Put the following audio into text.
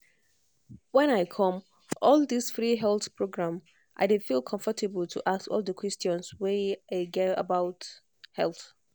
when i come all this free health program i dey feel comfortable to ask all the questions wey i get about health.